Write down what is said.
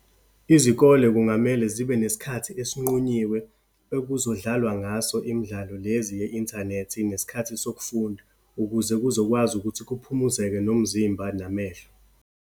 Izikole kungamele zibe nesikhathi esinqunyiwe, ekuzodlalwa ngaso imidlalo lezi ye-inthanethi, nesikhathi sokufunda ukuze kuzokwazi ukuthi kuphumuzeke nomzimba, namehlo.